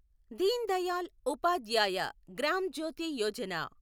Deen Dayal Upadhyaya Gram Jyoti Yojana